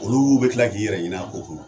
Oluw bɛ kila k'i yɛrɛ ɲin'a ko kɔnɔ